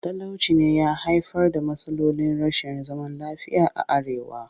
Talauci ne ya haifar da matsalolin rashin zaman lafiya a arewa